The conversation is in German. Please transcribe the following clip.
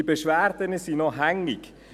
Diese Beschwerden sind noch immer hängig.